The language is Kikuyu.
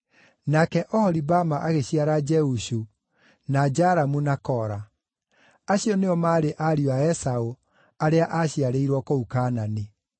nake Oholibama agĩciara Jeushu, na Jalamu na Kora. Acio nĩo maarĩ ariũ a Esaũ, arĩa aaciarĩirwo kũu Kaanani.